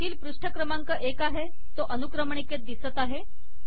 येथील पृष्ठ क्रमांक एक आहे तो अनुक्रमणिकेत दिसत आहे